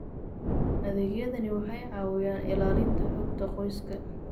Adeegyadani waxay caawiyaan ilaalinta xogta qoyska.